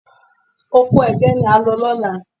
Oko ẹ̀gẹ́ ni à ń lọ lọ́la